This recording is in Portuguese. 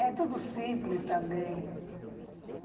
É tudo simples também.